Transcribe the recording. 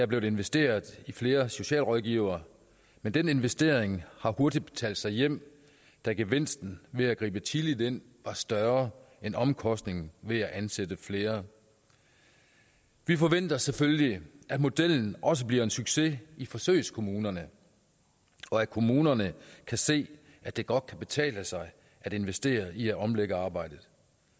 blevet investeret i flere socialrådgivere men den investering har hurtigt betalt sig hjem da gevinsten ved at gribe tidligt ind var større end omkostningen ved at ansætte flere vi forventer selvfølgelig at modellen også bliver en succes i forsøgskommunerne og at kommunerne kan se at det godt kan betale sig at investere i at omlægge arbejdet